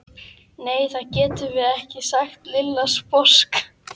Nei, það getum við ekki sagði Lilla sposk.